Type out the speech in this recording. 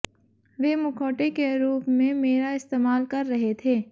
वे मुखौटे के रूप में मेरा इस्तेमाल कर रहे थे